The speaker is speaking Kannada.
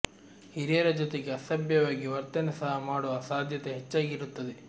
ಹಿರಿಯರ ಜೊತೆಗೆ ಅಸಭ್ಯವಾಗಿ ವರ್ತನೆ ಸಹ ಮಾಡುವ ಸಾಧ್ಯತೆ ಹೆಚ್ಚಾಗಿ ಇರುತ್ತದೆ